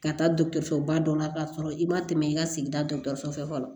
Ka taa dɔgɔtɔrɔsoba dɔ la k'a sɔrɔ i ma tɛmɛ i ka sigida dɔgɔtɔrɔso fɛ fɔlɔ